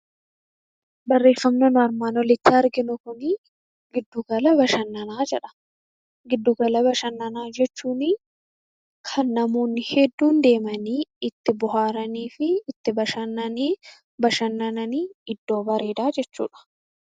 Barreeffamni nuti armaan olitti arginu kun giddugala bashannanaa jedha. Giddu gala bashannanaa jechuun kan namoonni hedduun deemanii itti bohaaranii fi itti bashannanan iddoo bareedaa jechuudha.